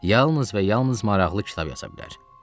Yalnız və yalnız maraqlı kitab yaza bilər.